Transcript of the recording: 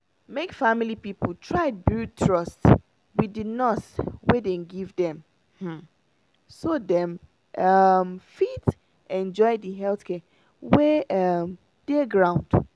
make family people try build trust with the nurse wey dem give dem um so dem um fit enjoy the health care wey um dey ground.